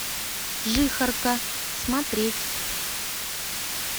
жихарка смотреть